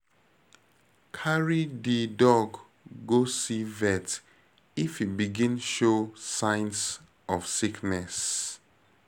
Carry di dog go see vet if e begin show signs of sickness